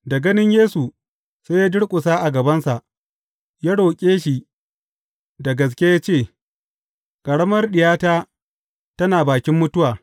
Da ganin Yesu, sai ya durƙusa a gabansa, ya roƙe shi da gaske ya ce, Ƙaramar diyata tana bakin mutuwa.